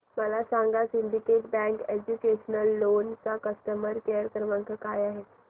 मला सांगा Syndicate Bank educational loan चा कस्टमर केअर क्रमांक काय आहे